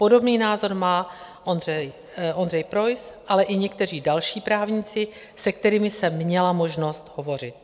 Podobný názor má Ondřej Preuss, ale i někteří další právníci, se kterými jsem měla možnost hovořit.